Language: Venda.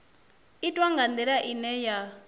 itwa nga ndila ine ya